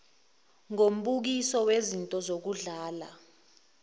ngombukiso wezinto zokudlala